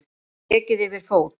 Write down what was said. Ekið yfir fót